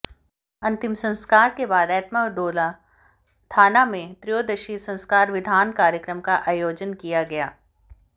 अंतिम संस्कार के बाद एत्माद्दौला थाना में त्रयोदशी संस्कार विधान कार्यक्रम का आयोजन किया गया